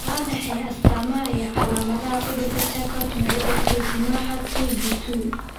Waa maxay astaamaha iyo calaamadaha cudurka Charcot Marie Tooth nooca (two B two)?